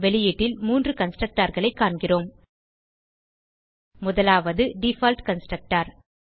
வெளியீட்டில் 3 constructorகளை காண்கிறோம் முதலாவது டிஃபால்ட் கன்ஸ்ட்ரக்டர்